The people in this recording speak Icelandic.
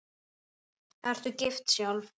Ertu gift sjálf?